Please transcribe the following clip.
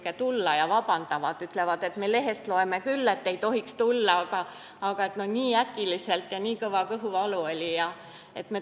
Kui tulevad, siis vabandavad – ütlevad, et me lehest loeme küll, et ei tohiks tulla, aga no nii äkiliselt ja nii kõva kõhuvalu oli.